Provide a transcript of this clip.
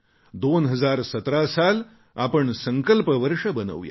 2017 साल आपण संकल्प वर्ष बनवूया